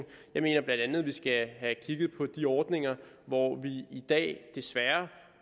jeg mener bla at vi skal have kigget på de ordninger hvor vi i dag desværre